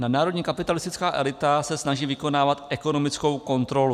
Nadnárodní kapitalistická elita se snaží vykonávat ekonomickou kontrolu.